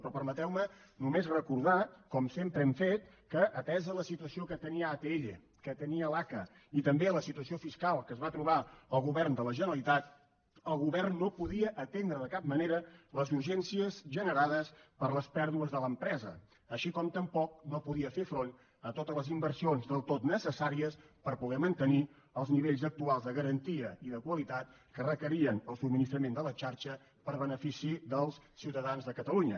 però permeteu me només recordar com sempre hem fet que atesa la situació que tenia atll que tenia l’aca i també la situació fiscal que es va trobar el govern de la generalitat el govern no podia atendre de cap manera les urgències generades per les pèrdues de l’empresa així com tampoc no podia fer front a totes les inversions del tot necessàries per poder mantenir els nivells actuals de garantia i de qualitat que requeria el subministrament de la xarxa per a benefici dels ciutadans de catalunya